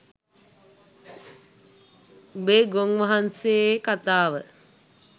උබේ ගොන් වහන්සේ කතාව